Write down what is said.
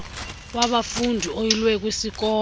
wabafundi oyilwe kwisikolo